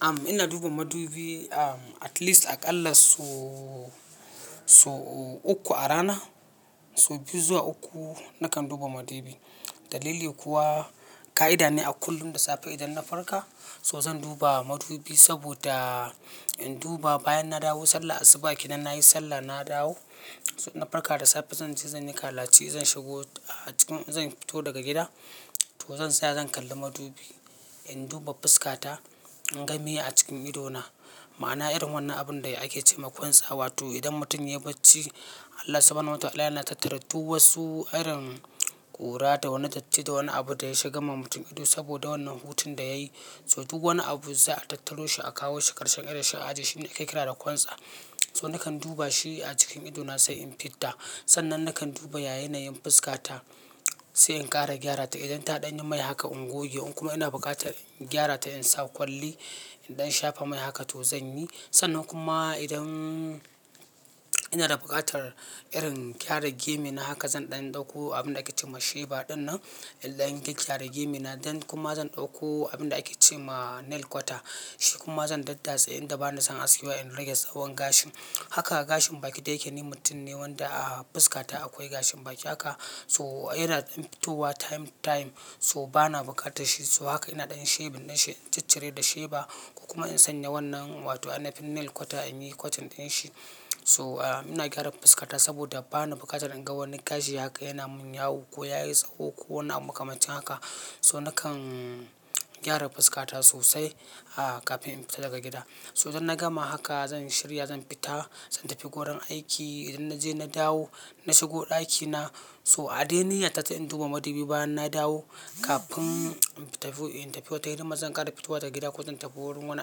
Am, ina duba madubi, um, at least a ƙalla so, so uku a rana. So biyu zuwa uku nakan duba madubi. Dalili kuwa, ƙa'ida ne a kullum da safe idan na farka, so zan duba madubi saboda in duba bayan na dawo sallah asubaƙenan, nayi sallah na dawo, na farka da safe zanje zan yi kalaci, zan shigo a cikin, zan fito daga gida to zan tsaya zan kalli madubi. In duba fuska ta, in ga me a cikin ido na. Ma'ana irin wannan abun da ake ce ma kwantsa, wato idan mutum ya baci, Allah Suba hana hu wa taala yana tattara duk wasu irin ƙura da wani datti, da wani abu da ya shiga ma mutum ido saboda wannan hutun da yayi. So duk wani abun zaa kawo shi a jiye shi karshen ido shi ake kira da kwantsa. So nakan duba shi a cikin ido na sai in fita. Sannan nakan duba ya yanayin fuska ta, sai in ƙara gyara ta. Idan ta ɗanyi mai haka in goge. In kuma ina buƙatar in gyara ta in sa kwalli, idan shafa mai haka to zan yi. Sannan kuma idan ina da buƙatar irin gyara gemu na haka zan ɗan ɗauko abin da ake ce ma sheba ɗin nan, idan gaya gyara gemu na, zan kuma zan ɗauko abin da ake ce ma nail kwata. Shi kuma zan daddatse inda bani son askewa in rage tsahon gashi. Haka gashin baki da yake ni mutum ne wanda a fuska ta akwai gashin baki. Haka, so yana dan fitowa time, to time so bana buƙata shi. So haka ina ɗan shibin dan shi in ciccire da sheba. Ko kuma in sanya wannan wato ainafin nail kwata in yi kwatin ɗin shi. So a, ina gyaran fuska ta saboda bana buƙatar in ga wannan gashi yake yana mun yawo ko yayi tsaho ko wani abu makamancin haka. So nakan gyara fuska ta sosai a, kafin in fita daga gida. So idan na gama haka zan shirya zan fita, zan tafi wurin aiki. Idan naje na dawo, na shigo ɗaki na so a dai niyya ta ta in duba madubi bayan na dawo kafin in tafi, in tafi wata irin maza zan ƙara fitowa ta gida ko zan tafi wurin wani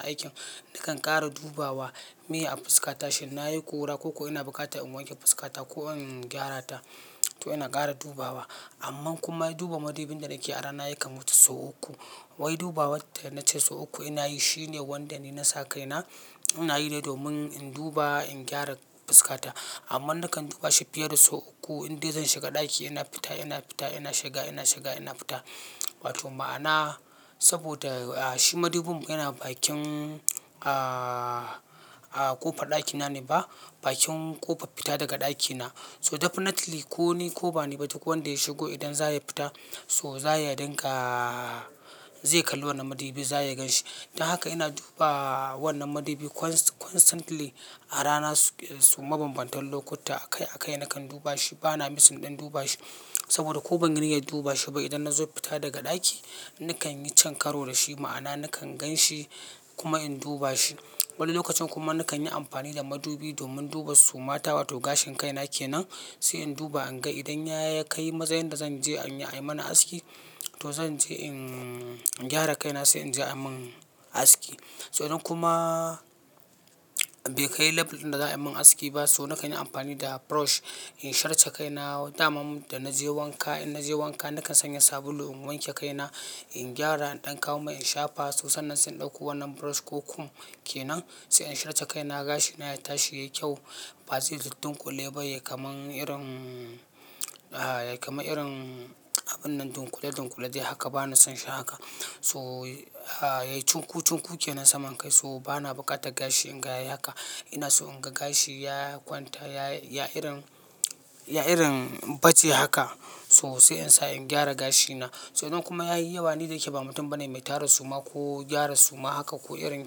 aikin. Nakan ƙara dubawa me a fuska ta shin nayi ƙura, ko ko ina buƙata in wanke fuska ta ko in gyara ta. To ina ƙara dubawa. Amman kuma duba madubin da nake a rana yakan wuce sau uku. Wai duba wata yana ce sau uku ina yi shine wanda ni na sa kai na. Ina yi ne domin in duba in gyara fuska ta. Amma nakan duba shi fiye da sau uku. Indai zan shiga ɗaki ina fita, ina fita, ina shiga, ina shiga, ina fita. Wato ma'ana saboda shi madubin mu yana bakin a, a ƙofar ɗaki na ne ba, bakin ƙofar fita daga ɗaki na. So definitely ko ni ko ba ni ba duk wanda ya shigo idan za ya fita so za ya dinga zai kalli wannan madubi, za ya gan shi. Dan haka ina duba wannan madubi constantly a rana so mabambantan lokuta. Akai akai nakan duba shi bana misin ɗan duba shi saboda ko ban yi niyyar duba shi ba idan na zo fita daga ɗaki nakan yi cin karo da shi. Ma'ana nakan gan shi kuma in duba shi. Wani lokacin kuma nakan yi amfani da madubi domin duba suma ta wato gashin kaina ke nan. Sai in duba in ga idan ya kai matsayin da zan je an yi mani aski to zan je in gyara kaina sai in je an mun aski. Sai idan kuma bai kai label ɗin da za a yi min aski ba so nakan yi amfani da brush in shirce kaina. Wata ma da naje wanka, in naje wanka nakan sanya sabulu in wanke kaina, in gyara, in ɗan kawo mai in shafa. To sannan zan ɗauko wannan brush ko kum ke nan sai in shirce kaina gashi na ya tashi yayi kyau. Ba zai duddunƙule ba ya kama irin a, ya kamar irin abun nan dunƙule dunƙule. Dai haka bana son shi haka. So a, yayi cunku cunkuke nan saman kai so bana buƙatar gashi in ga yai haka ina so in ga gashi ya kwanta, ya yi irin, ya yi irin baje haka so sai in sa in gyara gashi na. Sai idan kuma yayi yawa ni da yake ba mutum bane mai tara suma ko gyara suma haka ko irin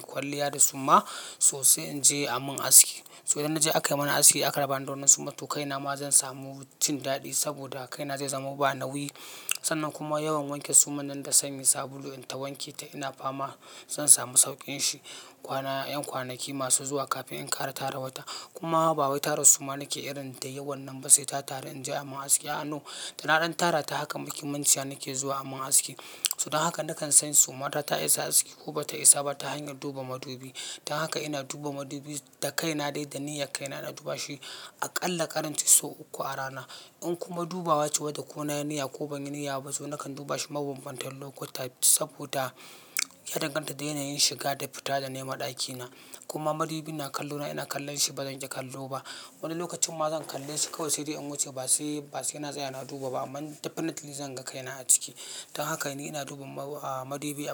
kwalliya da suma so sai in je an mun aski. So idan naje aka yi mani aski aka rabani da wannan suma to kaina ma zan samu cin daɗi saboda kaina zai zama banawi. Sannan kuma yawan wanke suman nan da sanyi sabulu in ta wanke ta ina fama zan samu sauƙin shi. Kwanan, 'yan kwanaki masu zuwa kafin in ƙara tara wata. Kuma ba wai tara suma nake irin da yawan nan ba sai ta taru in je an mun aski. Aa, no! Dana ɗan tara ta hakan muje munciya nake zuwa aman aski. So dan haka nakan sani suma ta isa aski ko bata isa ba ta hanyar duba madubi. Dan haka ina duba madubi da kaina dai da niyyar kaina na duba shi a ƙalla ƙaraci sau uku a rana. In kuma dubawa ce bada ko na niyya ko ban yi niyya ba so nakan duba shi mabambantan lokuta saboda ya danganta da yanayin shiga da fita da naima daki na. Kuma madubin na kallo na ina kallon shi bazan ki kallo ba. Wani lokacin ma zan kalle shi kawai sai dai in wuce ba sai, ba sai ina tsaya ina duba ba amma definitely zan ga kaina a ciki. Dan haka ni ina duba a, madubi a.